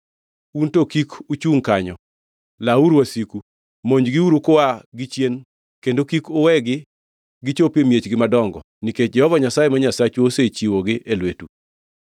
Un to kik uchungʼ kanyo, lawuru wasiku, monjgiuru kua gichien kendo kik uwegi gichop e miechgi madongo, nikech Jehova Nyasaye ma Nyasachu osechiwogi e lwetu.”